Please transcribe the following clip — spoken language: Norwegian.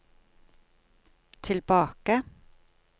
tilbake